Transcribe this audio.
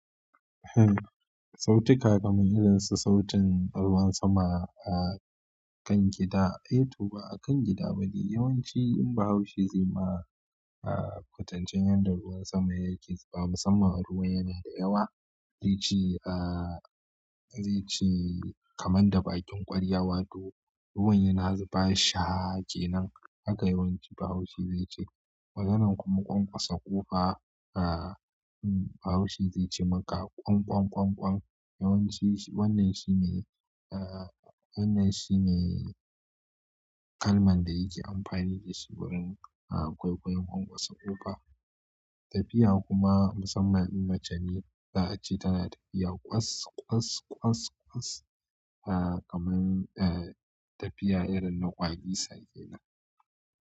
Sautika kamar irin su sautin ruwan sama a kan gida, ai to ba a kan gida ba ne. Yawanci in Bahaushe zai ma a kwatancen yadda ruwan sama yake zuba. Musamman ruwan yana da yawa zai ce a zai ce kamar da bakin kwarya wato ruwan yana zuba shaaa kenan. Haka yawanci Bahaushe zai ce. Kamar irin kuma ƙwanƙwasa ƙofa aa Bahaushe zai ce maka ƙwang ƙwang ƙwang ƙwang. Wannan shine aaaaa wannan shine kalman da yake amfani da shi wurin a kwaikwayon ƙwanƙwasa ƙofa. Tafiya kuma musamman in mace ne za a ce tana tafiya kwas kwas kwas kwas a kamar a tafiya irin na ƙwalisa kenana.